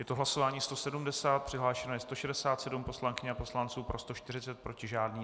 Je to hlasování 170, přihlášeno je 167 poslankyň a poslanců, pro 140, proti žádný.